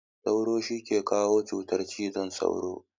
Sauro shi ke kawo cutar cizon sauro.